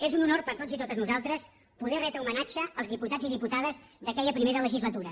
és un honor per a tots i totes nosaltres poder retre homenatge als diputats i diputades d’aquella primera legislatura